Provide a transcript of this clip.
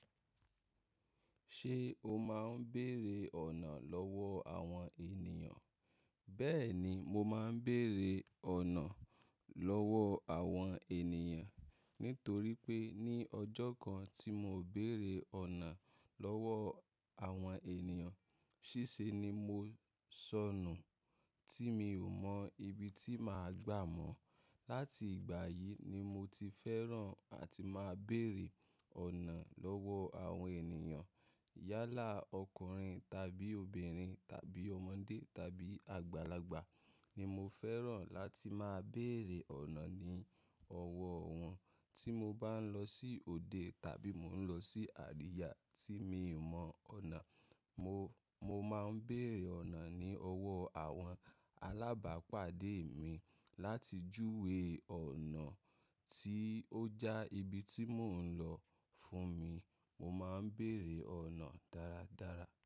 Ṣé o máa ń béèrè ọ̀nà lọ́wọ́ àwọn èniyàn? Bẹ́ẹ̀ni, mo máa ń béèrè ọ̀nà lọ́wọ́ àwọn ènìyàn. Nítorí pé ní ọjọ́ kan tí mo béèrè ọ̀nà lọ́wọ́ àwọn ènìyàn, ṣíṣe ni mo sọnù tí mi ò mọ ibi tí màá gbà mọ̀. Láti ìgbà yìí ni mo ti fẹ́ràn àti máa ń béèrè ọ̀nà lọ́wọ́ àwọn ènìyàn. Yálà ọkùnrin tàbí obìnrin tàbí ọmọdé tàbí àgbàlagbà ni mo fẹ́ràn láti máa ń béèrè ọ̀nà ní ọwọ́ wọn. Tí mo bá ń lọ sí òde tàbí mò ń lọ sí àríyá tí mi ò mọ ọ̀nà, mo, mo máa ń béèrè ọ̀nà ní ọwọ́ àwọn alábàápàdé mi láti júwe ọ̀nà tí ó já ibi tí mò ń lọ fún mi. Mo máa ń béèrè ọ̀nà dáradára.